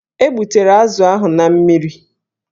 E gbutere azụ ahụ na mmiri.